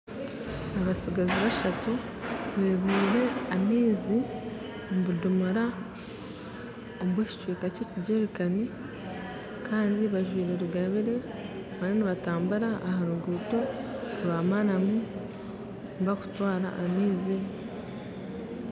Abatsigazi bashatu beekoreire amaizi omu bidomora kandi bajwire rugaabire bariyo nibatabura aha ruguuto rwa maramu barikutwara amaizi